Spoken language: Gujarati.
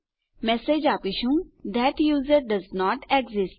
આપણે મેસેજ આપીશું થત યુઝર ડોએસન્ટ એક્સિસ્ટ